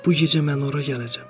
Bu gecə mən ora gələcəm.